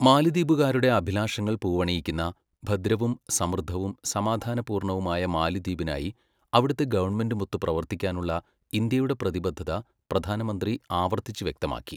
മാലിദ്വീപ്കാരുടെ അഭിലാഷങ്ങൾ പൂവണിയിക്കുന്ന, ഭദ്രവും, സമൃദ്ധവും, സമാധാന പൂർണ്ണവുമായ മാലിദ്വീപിനായി അവിടത്തെ ഗവണ്മെന്റുമൊത്ത് പ്രവർത്തിക്കാനുള്ള ഇന്ത്യയുടെ പ്രതിബദ്ധത പ്രധാനമന്ത്രി ആവർത്തിച്ച് വ്യക്തമാക്കി.